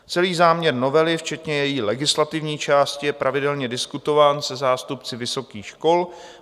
Celý záměr novely, včetně její legislativní části, je pravidelně diskutován se zástupci vysokých škol.